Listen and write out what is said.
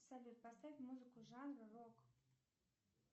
салют поставь музыку жанра рок